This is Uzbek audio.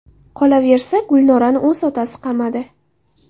Qolaversa, Gulnorani o‘z otasi qamadi.